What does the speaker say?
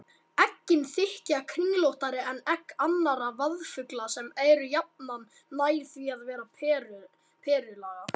Eggin þykja kringlóttari en egg annarra vaðfugla sem eru jafnan nær því að vera perulaga.